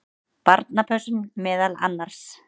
Barnapössun meðal annars.